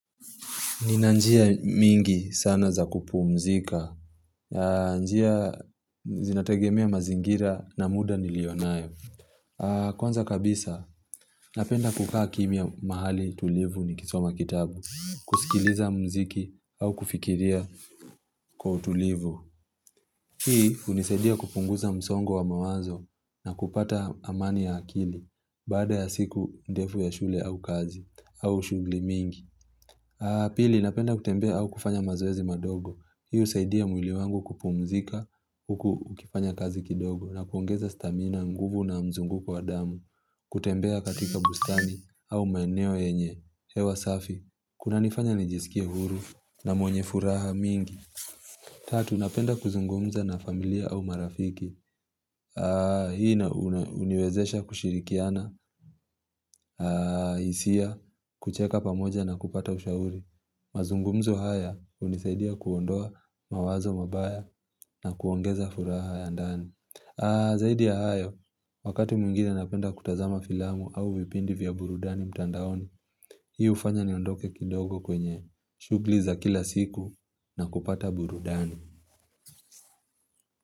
Ninanjia mingi sana za kupu mzika. Njia zinategemea mazingira na muda nilionayo Kwanza kabisa, napenda kukaa kimia mahali tulivu nikisoma kitabu. Kusikiliza mziki au kufikiria kwa tulivu. Hii unisadia kupunguza msongo wa mawazo na kupata amani ya akili. Bada ya siku ndefu ya shule au kazi au shughuli mingi. Pili, napenda kutembea au kufanya mazoezi madogo. Husaidia mwili wangu kupumzika huku ukifanya kazi kidogo na kuongeza stamina nguvu na mzunguko wa damu. Kutembea katika bustani au maeneo yenye. Hewa safi, kuna nifanya nijisikia huru na mwenye furaha mingi. Tatu, napenda kuzungumza na familia au marafiki. Hii huniwezesha kushirikiana, hisia, kucheka pamoja na kupata ushauri. Mazungumzo haya, hunisaidia kuondoa mawazo mabaya na kuongeza furaha ya ndani. Zaidi ya hayo, wakati mwingine napenda kutazama filamu au vipindi vya burudani mtandaoni, hii huifanya niondoke kidogo kwenye shughuli za kila siku na kupata burudani.